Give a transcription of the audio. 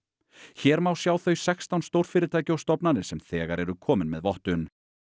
hér má sjá þau sextán stórfyrirtæki og stofnanir sem þegar eru komin með vottun